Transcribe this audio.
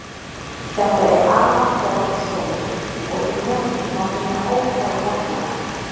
Þetta er afar forn skógur og í honum má finna ótal hella.